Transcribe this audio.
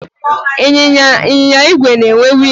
Ịnyịnya igwe na-enwe wiilụ abụọ.